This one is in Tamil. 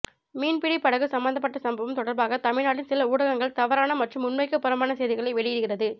மீன்பிடி படகு சம்பந்தப்பட்ட சம்பவம் தொடர்பாக தமிழ்நாட்டின் சில ஊடகங்கள் தவறான மற்றும் உண்மைக்கு புறம்பான செய்திகளை வெளியிடுகிறது